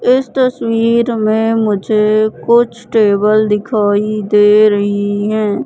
इस तस्वीर में मुझे कुछ टेबल दिखाई दे रही है।